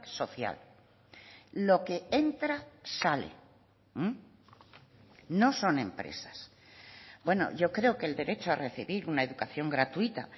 social lo que entra sale no son empresas bueno yo creo que el derecho a recibir una educación gratuita